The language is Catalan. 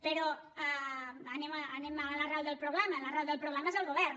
però anem a l’arrel del problema l’arrel del problema és el govern